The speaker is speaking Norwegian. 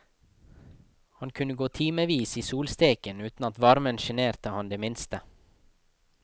Han kunne gå i timevis i solsteken uten at varmen sjenerte han det minste.